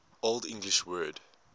old english word